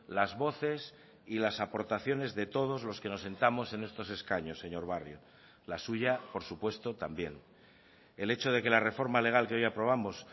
las voces y las aportaciones de todos los que nos sentamos en estos escaños señor barrio la suya por supuesto también el hecho de que la reforma legal que hoy aprobamos